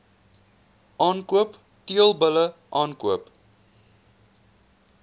aankoop teelbulle aankoop